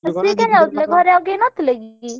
ସିଏ କାଇଁ ଯାଉଥିଲେ ଘରେ ଆଉ କେହି ନ ଥିଲେ କି?